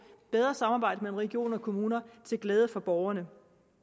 bedre samarbejde mellem regioner og kommuner til glæde for borgerne